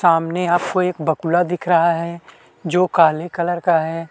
सामने आपको एक बकुला दिख रहा है जो काले कलर का है।